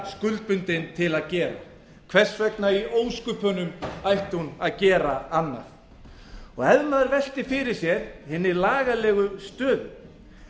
skuldbundin til að gera hvers vegna í ósköpunum ætti hún að gera annað ef maður veltir fyrir sér hinni lagalegu stöðu